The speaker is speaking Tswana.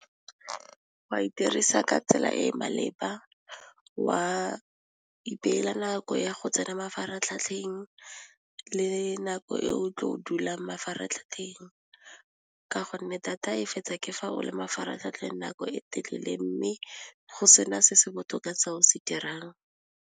Wa e dirisa ka tsela e e maleba wa ipeela nako ya go tsena mafaratlhatlheng le nako e o tlo dulang mafaratlhatlheng ka gonne data e fetsa ke fa o le mafaratlhatlheng nako e telele mme go se na se se botoka se o se dirang.